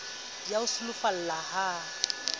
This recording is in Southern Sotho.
di a o sulafalla ha